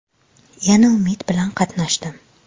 Yana umid bilan qatnashdim.